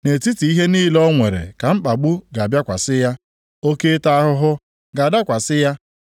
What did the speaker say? Nʼetiti ihe niile o nwere ka mkpagbu ga-abịakwasị ya, oke ịta ahụhụ ga-adakwasị ya.